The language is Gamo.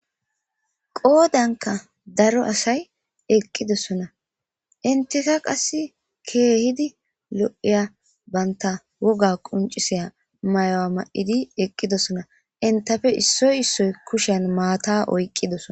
qodankka daro asay eqqidossona entikka qasi ke'hidi lo'iya banta wogga qoncissiya may'uwa may'idi eqqidossona ettappe issoy issoy kushshen matta oyqqidosson